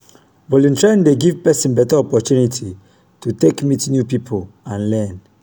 volunteering dey giv pesin beta opportunity to take meet new pipo and learn.